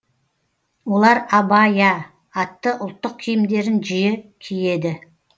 олар абайя атты ұлттық киімдерін жиі киеді